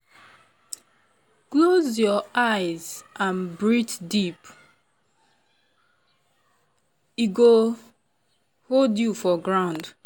close your eye and breathe deep — e go hold you for ground.